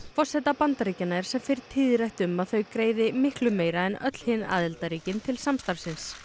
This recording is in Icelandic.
forseta Bandaríkjanna er sem fyrr tíðrætt um að þau greiði miklu meira en öll hin aðildarríkin til samstarfsins